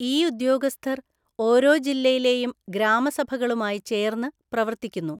ഈ ഉദ്യോഗസ്ഥർ ഓരോ ജില്ലയിലെയും ഗ്രാമസഭകളുമായി ചേര്‍ന്ന് പ്രവർത്തിക്കുന്നു.